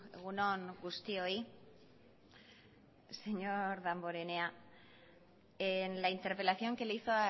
egun on guztioi señor damborenea en la interpelación que le hizo